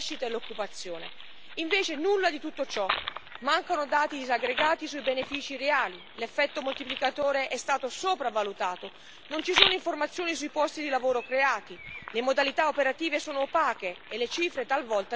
Invece, nulla di tutto ciò, mancano dati disaggregati sui benefici reali, l'effetto moltiplicatore è stato sopravvalutato, non ci sono informazioni sui posti di lavoro creati, le modalità operative sono opache e le cifre talvolta risultano secretate.